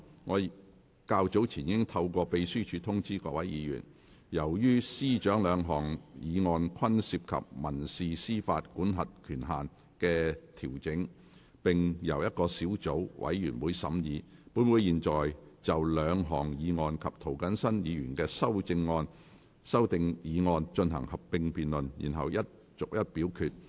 我較早前已透過秘書處通知議員，由於司長兩項議案均涉及民事司法管轄權限的調整，並且由同一個小組委員會審議，本會會就兩項議案及涂謹申議員的修訂議案進行合併辯論，然後逐一表決。